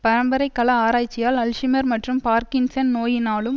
பரம்பரை கல ஆராய்ச்சியால் அல்ஷிமர் மற்றும் பார்க்கின்சன் நோயினாலும்